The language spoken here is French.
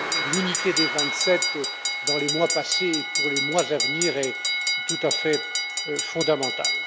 L'unité des vingt sept dans les mois passés et pour les mois à venir est tout à fait fondamentale.